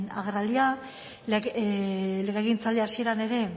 agerraldia legegintzaldi hasieran ere